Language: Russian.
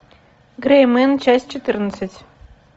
грей мен часть четырнадцать